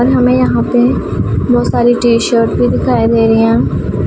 और हमें यहां पे बहोत सारी टी_शर्ट भी दिखाई दे रही है।